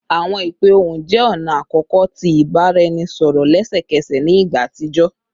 Awọn ipe ohun jẹ ọna akọkọ ti ibaraẹnisọrọ lẹsẹkẹsẹ ni igba atijọ